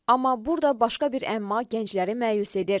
Amma burda başqa bir əmma gəncləri məyus edir.